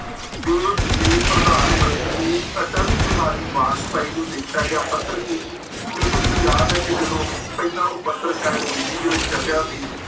ਦੇਸ ਦੇ ਪ੍ਰਧਾਨ ਮੰਤਰੀ ਅਟਲ ਬਿਹਾਰੀ ਬਾਜਪਾਈ ਨੂੰ ਲਿਖਿਆ ਗਿਆ ਪੱਤਰ ਕੀ ਸੀ ਕਿਉਂਕਿ ਮੈਨੂੰ ਯਾਦ ਹੈ ਕਿ ਜਦੋਂ ਪਹਿਲਾਂ ਉਹ ਪੱਤਰ ਸ਼ਾਇਦ ਹਿੰਦੀ ਦੇ ਵਿੱਚ ਛਪਿਆ ਸੀ।